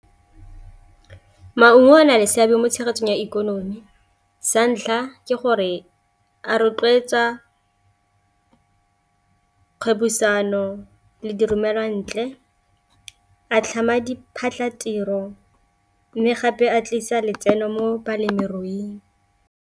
Maungo a na le seabe mo tshegetsong ya ikonomi santlha ke gore a rotloetsa kgwebisano le diromelwantle, a tlhama diphatlatiro, mme gape a tlisa letseno mo balemiruing.